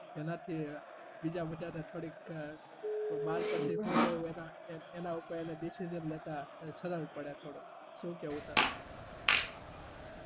જેનાથી બીજા બધાને થોડી ક બાર પછી શું લેવું અના ઉપર એને decision લેતા સરળ પડે થોડું શુ કેવું તારું